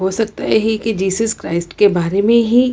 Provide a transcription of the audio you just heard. हो सकता है की जीजस क्राइस्ट के बारे में ही --